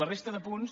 la resta de punts